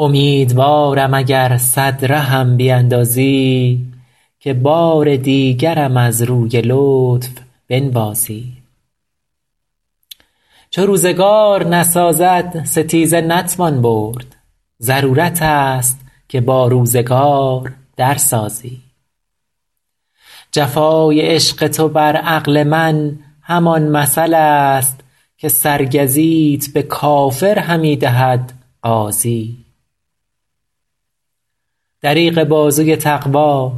امیدوارم اگر صد رهم بیندازی که بار دیگرم از روی لطف بنوازی چو روزگار نسازد ستیزه نتوان برد ضرورت است که با روزگار در سازی جفای عشق تو بر عقل من همان مثل است که سرگزیت به کافر همی دهد غازی دریغ بازوی تقوا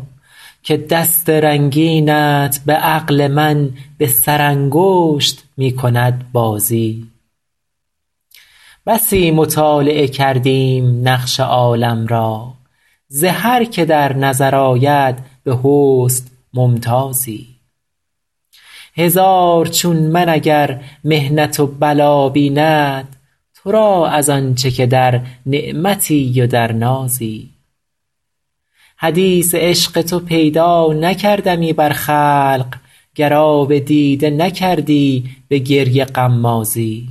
که دست رنگینت به عقل من به سرانگشت می کند بازی بسی مطالعه کردیم نقش عالم را ز هر که در نظر آید به حسن ممتازی هزار چون من اگر محنت و بلا بیند تو را از آن چه که در نعمتی و در نازی حدیث عشق تو پیدا نکردمی بر خلق گر آب دیده نکردی به گریه غمازی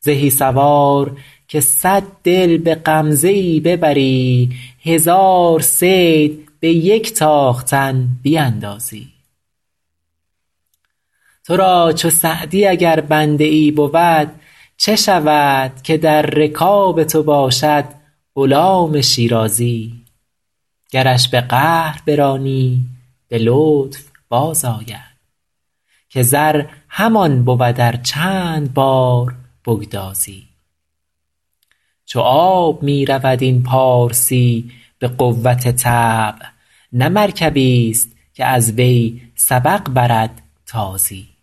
زهی سوار که صد دل به غمزه ای ببری هزار صید به یک تاختن بیندازی تو را چو سعدی اگر بنده ای بود چه شود که در رکاب تو باشد غلام شیرازی گرش به قهر برانی به لطف بازآید که زر همان بود ار چند بار بگدازی چو آب می رود این پارسی به قوت طبع نه مرکبیست که از وی سبق برد تازی